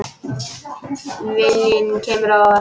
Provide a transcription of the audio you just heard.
Viljinn kemur á óvart.